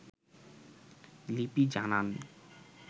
লিপি জানান